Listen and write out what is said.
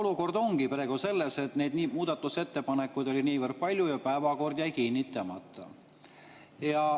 Olukord ongi praegu selles, et neid muudatusettepanekuid oli niivõrd palju ja päevakord jäi kinnitamata.